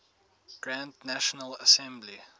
grand national assembly